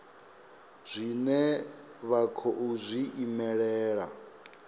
zwine vha khou zwi imelela